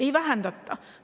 Ei vähendata!